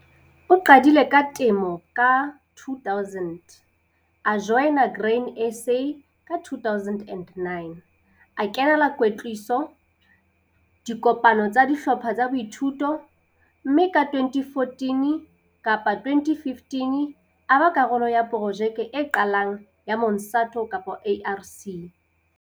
O qadile ka temo ka 2000, a joina Grain SA ka 2009, a kenela kwetliso, dikopano tsa dihlopha tsa boithuto, mme ka 2014 kapa 2015 a ba karolo ya projeke e qalang ya Monsanto kapa ARC.